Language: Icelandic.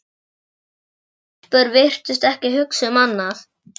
Margar stelpur virtust ekki hugsa um annað.